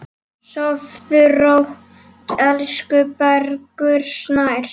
Sofðu rótt, elsku Bergur Snær.